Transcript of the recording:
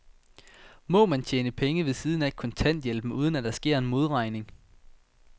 Må man tjene penge ved siden af kontanthjælpen, uden at der sker en modregning?